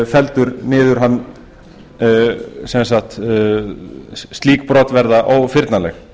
felldur niður sem sagt slík brot verða ófyrnanleg